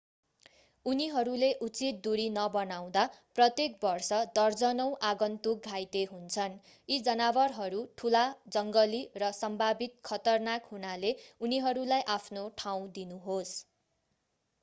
उनीहरूले उचित दूरी नबनाउँदा प्रत्येक वर्ष दर्जनौं आगन्तुक घाइते हुन्छन् यी जनावरहरू ठूला जङ्गली र सम्भावित खतरनाक हुनाले उनीहरूलाई आफ्नो ठाउँ दिनुहोस्